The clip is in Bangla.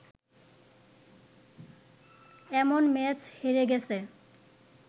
এমন ম্যাচ হেরে গেছে